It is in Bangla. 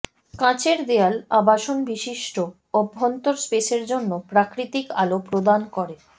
কাচের দেয়াল আবাসন বিশিষ্ট অভ্যন্তর স্পেসের জন্য প্রাকৃতিক আলো প্রদান করে